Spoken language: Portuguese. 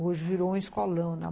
Hoje virou um escolão, né?